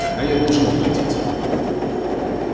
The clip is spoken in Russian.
когда я должен вылететь